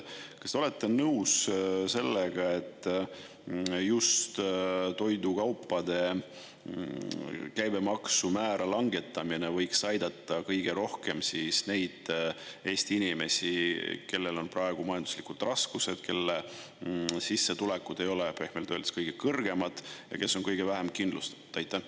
Kas te olete nõus sellega, et just toidukaupade käibemaksu määra langetamine võiks aidata kõige rohkem neid Eesti inimesi, kellel on praegu majanduslikud raskused, kelle sissetulekud ei ole pehmelt öeldes kõige kõrgemad ja kes on kõige vähem kindlustatud?